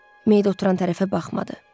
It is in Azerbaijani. Meyit oturan tərəfə baxmadı.